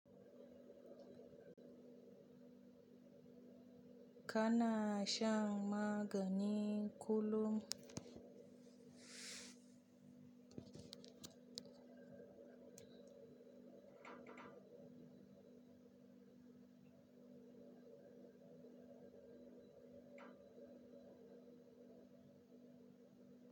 Kana shan magani kullum?